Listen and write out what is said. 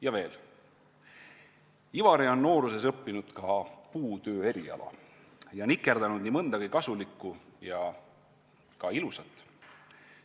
Ja veel, Ivari on nooruses õppinud ka puutöö eriala ja nikerdanud nii mõndagi kasulikku ja ka ilusat.